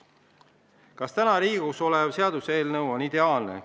Kas täna Riigikogus arutusel olev seaduseelnõu on ideaalne?